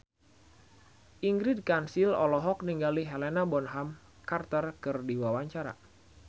Ingrid Kansil olohok ningali Helena Bonham Carter keur diwawancara